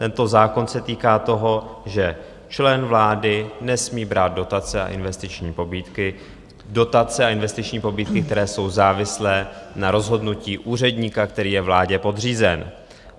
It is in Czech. Tento zákon se týká toho, že člen vlády nesmí brát dotace a investiční pobídky - dotace a investiční pobídky, které jsou závislé na rozhodnutí úředníka, který je vládě podřízen.